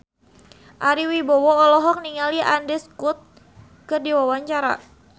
Ari Wibowo olohok ningali Andrew Scott keur diwawancara